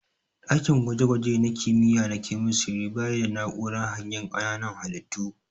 Ɗakin gwaje gwaje na kimiyya na kemistiri bayi da na'urar hangen ƙananan halittu.